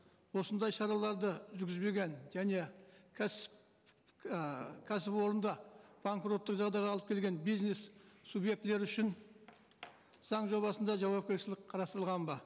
осындай шараларды жүргізбеген және кәсіп ііі кәсіпорынды банкроттық жағдайға алып келген бизнес субъектілері үшін заң жобасында жауапкершілік қарастырылған ба